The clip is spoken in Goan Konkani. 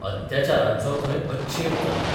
अत्याचारांचो थंय अच्छेव चलता.